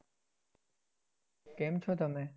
કેમ છો તમે?